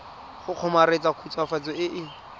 go kgomaretsa khutswafatso e e